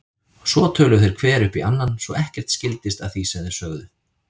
Svo töluðu þeir hver upp í annan svo ekkert skildist af því sem þeir sögðu.